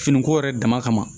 Finiko yɛrɛ dama kama